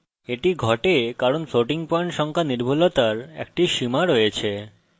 এটি ঘটে কারণ floating পয়েন্ট সংখ্যা নির্ভুলতার একটা সীমা রয়েছে